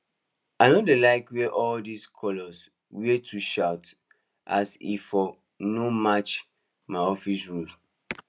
i no dey like wear all those colours wey too shout as e fot no match my office rules